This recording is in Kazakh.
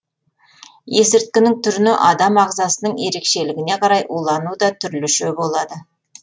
есірткінің түріне адам ағзасының ерекшелігіне қарай улану да түрліше болады